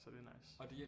Så det er nice